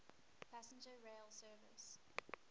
passenger rail service